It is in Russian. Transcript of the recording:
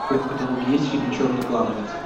в твоем каталоге есть фильм черный клановец